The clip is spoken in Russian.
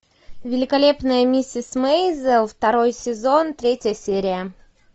великолепная миссис мейзел второй сезон третья серия